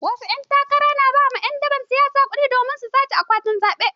Wasu ƴan takara na ba ƴan daban siyasa kuɗi domin su sace akwatin zaɓe.